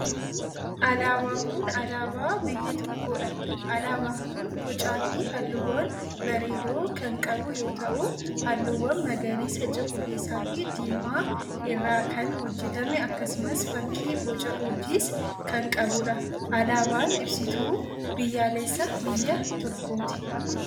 Alaabaan kun, alaabaa biyya tokkoo dha. Alaabaan kun bocaa fi haalluuwwan bareedoo kan qabu yoo ta'u, haalluuwwan magariisa, cuquliisa fi diimaa irraa kan hojjatame akkasumas fakki boca urjiis kan qabuu dha. Alaabaan ibsituu biyyaalessaa biyya tokkooti.